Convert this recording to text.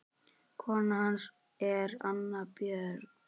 Kona hans er Anna Björg